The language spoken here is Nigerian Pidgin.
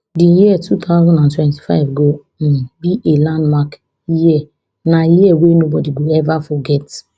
di year two thousand and twenty-five go um be a landmark year na year wey nobody go ever forget